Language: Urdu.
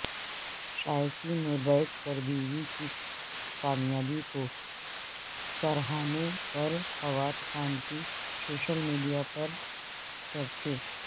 شائقین میں بیٹھ کربیوی کی کامیابی کو سراہنے پر فواد خان کے سوشل میڈیا پرچرچے